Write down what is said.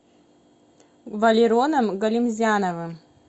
валероном галимзяновым